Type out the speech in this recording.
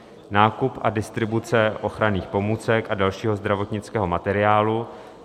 nákup a distribuce ochranných pomůcek a dalšího zdravotnického materiálu,